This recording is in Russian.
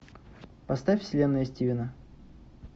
поставь вселенная стивена